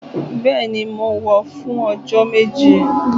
Bẹẹni, mọ wọ fún ọjọ Méjì